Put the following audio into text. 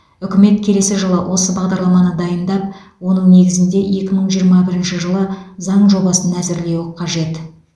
үкімет келесі жылы осы бағдарламаны дайындап оның негізінде екі мың жиырма бірінші жылы заң жобасын әзірлеуі қажет